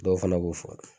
Dɔw fana b'u fɔ